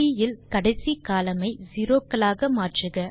C இல் கடைசி column ஐ செரோ க்களாக மாற்றுக